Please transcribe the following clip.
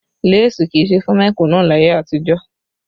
Léèsì kì í ṣe fún mẹ̀kùnnú láyé àtijọ́